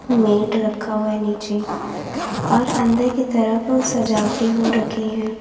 Met रखा हुआ नीचे और अंदर की तरफ सजावटे हो रखी है।